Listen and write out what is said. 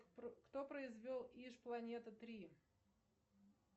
кто произвел иж планета три